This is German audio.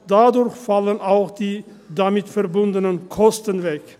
dadurch fallen auch die damit verbundenen Kosten weg.